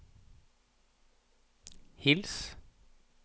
hils